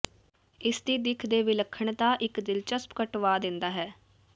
ਇਸ ਦੀ ਦਿੱਖ ਦੇ ਵਿਲੱਖਣਤਾ ਇੱਕ ਦਿਲਚਸਪ ਕਟਵਾ ਦਿੰਦਾ ਹੈ